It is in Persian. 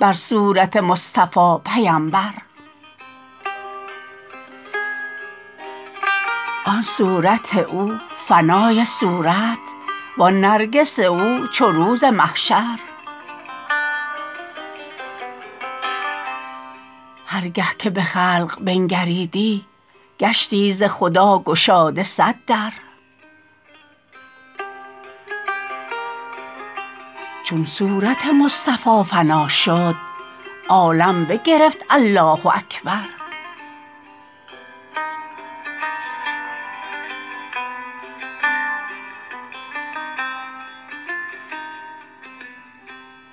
بر صورت مصطفی پیمبر آن صورت او فنای صورت وان نرگس او چو روز محشر هر گه که به خلق بنگریدی گشتی ز خدا گشاده صد در چون صورت مصطفی فنا شد عالم بگرفت الله اکبر